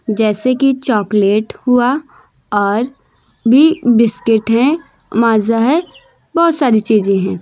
जैसे कि चॉकलेट हुआ और भी बिस्किट है माजा है बहोत सारी चीजे हैं।